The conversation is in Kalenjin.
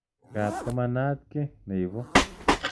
Ngap ko manaat ki ne ipu.